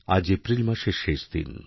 আজ এপ্রিল মাসের শেষ দিন